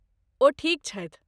ओ ठीक छथि।